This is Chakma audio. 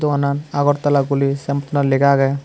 doganan agortola guri sym bottanot lega agey.